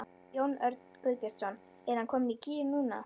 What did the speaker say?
Jón Örn Guðbjartsson: Er hann kominn í gír núna?